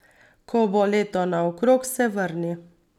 Ko bo leto naokrog, se vrni.